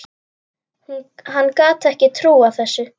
Hann gat ekki trúað þessu.